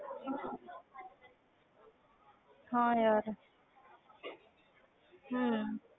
ਹਾਂ ਯਾਰ ਹਮ